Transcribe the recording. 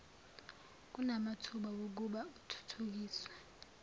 kunamathuba okuba uthuthukiswe